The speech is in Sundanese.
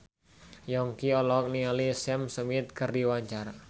Yongki olohok ningali Sam Smith keur diwawancara